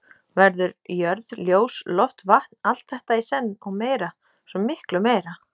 Verður jörð ljós loft vatn, allt þetta í senn, og meira, svo miklu meira.